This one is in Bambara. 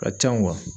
Ka ca